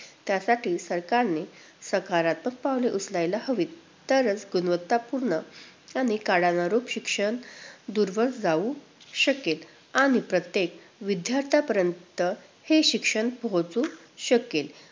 त्यासाठी सरकारने सकारात्मक पावलं उचलायला हवीत, तरच गुणवत्तापुर्ण आणि काळानुरूप शिक्षण दूरवर जाऊ शकेल. आणि प्रत्येक विद्यार्थ्यांपर्यंत हे शिक्षण पोहोचू शकेल.